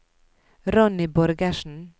Ronny Borgersen